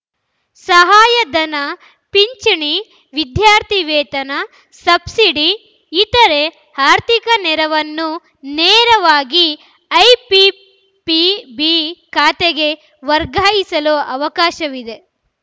ಸಹಾಯಧನ ಪಿಂಚಣಿ ವಿದ್ಯಾರ್ಥಿ ವೇತನ ಸಬ್ಸಿಡಿ ಇತರೆ ಆರ್ಥಿಕ ನೆರವನ್ನು ನೇರವಾಗಿ ಐಪಿಪಿಬಿ ಖಾತೆಗೆ ವರ್ಗಾಯಿಸಲು ಅವಕಾಶವಿದೆ